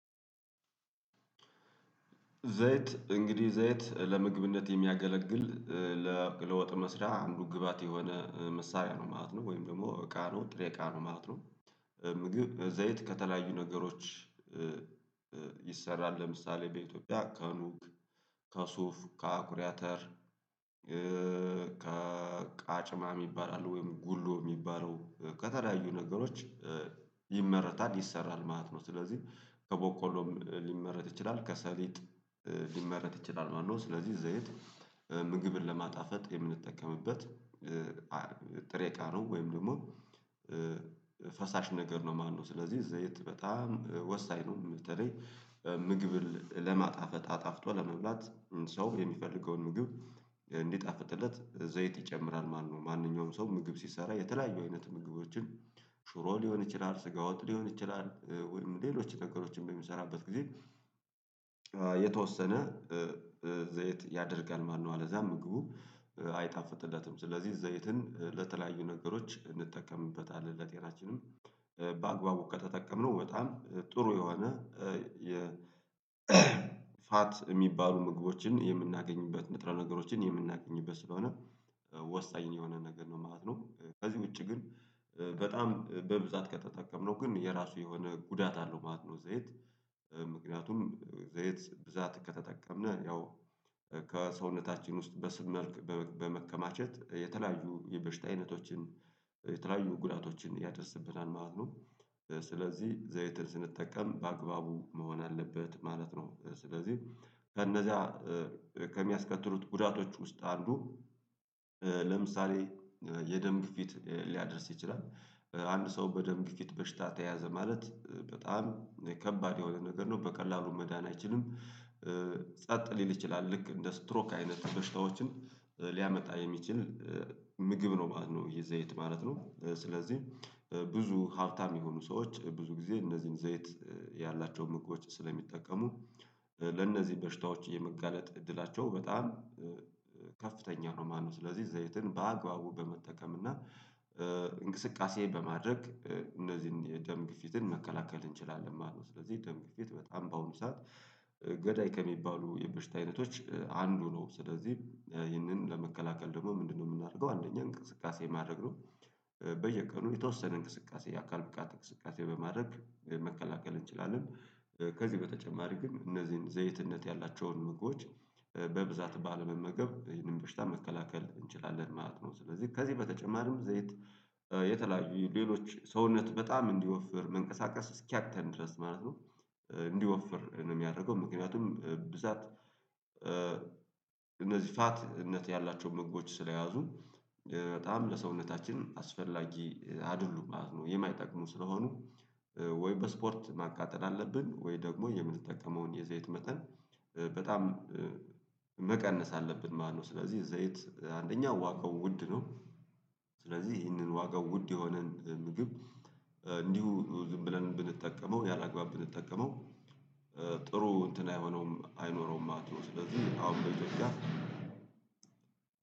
ዘይት እንግዲህ ዘይት ለምግብነት የሚያገለግል እ ለ ለወጥ መስሪያ አንዱ ግባት የሆነ መሳሪያ ነው ማለት ነው ወይም ደግሞ እቃ ነው ጥሬ እቃ ነው ማለት ነው። ምግብ ዘይት ከተለያዩ ነገሮች። ይሰራል ለምሳሌ በኢትዮጵያ ከኑግ፣ ከሱፍ፣ ከአኩሪአተር ከ ቃጭማ የሚባል አለ ወይም ጉሎ የሚባለው ከተለያዮ ነገሮች ይመረታል ይሰራል ማለት ነው። ስለዚህ ከቦቆሎም ሊመረጥ ይችላል ከሰሊጥ ሊመረጥ ይችላል ማለት ነው። ስለዚህ ዘይት ምግብን ለማጣፈጥ የምንጠቀምበት ጥሬ እቃ ነው። ወይም ደግሞ ፈሳሽ ነገር ነው ማለት ነው። ስለዚህ ዘይት በጣም ወሳኝ ነው በተለይ ምግብን ለማጣፈጥ አጣፍጦ ለመብላት ሰው የሚፈልገውን ምግብ እንዲጣፍጥለት ዘይት ይጨምራል ማለት ነው። ማንኛውም ሰው ምግብ ሲሰራ የተለያዩ አይነት ምግቦችን ሽሮ ሊሆን ይችላል ስጋ ወጥ ሊሆን ይችላል ወይም ሌሎች ነገሮች በሚሰራበት ጊዜ የተወሰነ ዘይት ያደርጋል ማለት ነው። አለዛ ምግቡ አይጣፍጥለትም። ስለዚህ ዘይትን ለተለያዩ ነገሮች እንጠቀምበታለን ለጤናችንም በአግባቡ ከተጠቀምነው በጣም ጥሩ የሆነ የ ፋት የሚባሉ ምግቦችን የምናገኝበት ንጥረ ነገሮችን የምናገኝበት ስለሆነ ወሳኝ የሆነ ነገር ነው ማለት ነው። ከዚህ ውጪ ግን በጣም በብዛት ከተጠቀምነው ግን የራሱ የሆነ ጉዳት አለው ማለት ነው። ዘይት ምክንያቱም ዘይት በብዛት ከተጠቀምን ያው ከሰውነታችን ውስጥ በስብ መልክ በመከማቸት የተለያዩ የበሽታ አይነቶችን የተለያዩ ጉዳቶችን ያደርስብናል ማለት ነው። ስለዚህ ዘይት ስንጠቀም በአግባቡ መሆን አለበት ማለት ነው። ስለዚህ ከነዛ ከሚያስከትሉት ጉዳቶች ውስጥ አንዱ ለምሳሌ የደም ግፊት ሊያደርስ ይችላል። አንድ ሰው በደም ግፊት በሽታ ተያዘ ማለት በጣም ከባድ የሆነ ነገር ነው በቀላሉ መዳን ኣይችልም። ጸጥ ሊል ይችላል ልክ እንደ ስትሮክ አይነት በሽታዎችን ሊያመጣ የሚችል ምግብ ነው ማለት ነው። የዘይት ማለት ነው ስለዚህ ብዙ ሀብታም የሆኑ ሰዎች ብዙ ጊዜ እነዚህን ዘይት ያላቸው ምግቦች ስለሚጠቀሙ ለእነዚህ በሽታዎች የመጋለጥ እድላቸው በጣም ከፍተኛ ነው ማለት ነው። ስለዚህ ዘይትን በአግባቡ በመጠቀም እና እንቅስቃሴ በማድረግ እነዚህን የደም ግፊትን መከላከል እንችላለን ማለት ነው። ስለዚህ ደም ግፊት በጣም ባሁኑ ሰዓት ገዳይ ከሚባሉ የበሽታ አይነቶች አንዱ ነው። ስለዚህ ይህንን ለመከላከል ደግሞ ምንድነው የምናደርገው? አንደኛ እንቅስቃሴ ማድረግ ነው። በየቀኑ የተወሰነ እንቅስቃሴ የአካል ብቃት እንቅስቃሴ በማድረግ መከላከል እንችላለን። ከዚህ በተጨማሪ ግን እነዚህን ዘይትነት ያላቸውን ምግቦች በብዛት ባለመመገብ ይህንን በሽታ መከላከል እንችላለን ማለት ነው። ስለዚህ ከዚህ በተጨማሪም ዘይት የተለያዩ ሌሎች ሰውነት በጣም እንዲወፍር መንቀሳቀስ እስኪያቅተን ድረስ ማለት ነው። እንዲወፍር ነው የሚያደርገው ምክንያቱም ብዛት እነዚህ ፋትነት ያላቸውን መግቦች ስለያዙ በጣም ለሰውነታችን አስፈላጊ አይደሉም ማለት ነው። የማይጠቅሙ ስለሆኑ ወይ በስፖርት ማቃጠል አለብን ወይ ደግሞ የምንጠቀመውን የዘይት መጠን በጣም መቀነስ አለብን ማለት ነው። ስለዚህ ዘይት አንደኛ ዋጋው ውድ ነው። ስለዚህ ይህንን ዋጋው ውድ የሆነን ምግብ እንዲሁ ዝም ብለን ብንጠቀመው ያላግባብ ብንጠቀመው ጥሩ እንትን አይሆኖውም አይኖረውም ማለት ነው። ስለዚህ አሁን በዚ